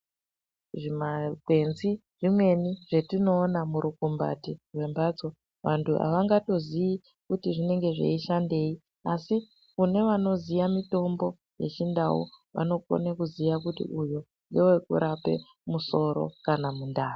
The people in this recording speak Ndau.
Zvimakwenzi zvimweni zvetinoona murukumbati rwembatso vantu havangatoziyi kuti zvinenge zveishandei, asi kune vanoziya mitombo yeChindau, vanokone kuziya kuti uyu ngewekurape musoro kana mundani.